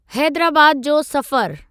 हैदराबाद जो सफ़रु।